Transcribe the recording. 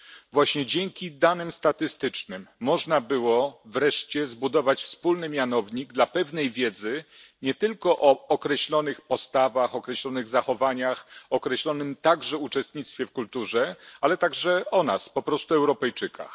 Właśnie dzięki danym statystycznym można było wreszcie zbudować wspólny mianownik dla pewnej wiedzy nie tylko o określonych postawach, o określonych zachowaniach, o określonym także uczestnictwie w kulturze, ale także o nas po prostu o Europejczykach.